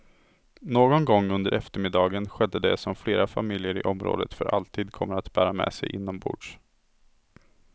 Någon gång under eftermiddagen skedde det som flera familjer i området för alltid kommer att bära med sig inombords.